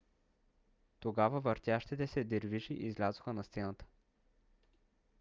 тогава въртящите се дервиши излязоха на сцената